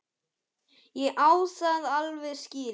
Ég á það alveg skilið.